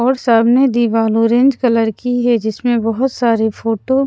और सामने दीवाल ऑरेंज कलर की है जिसमें बहुत सारे फोटो --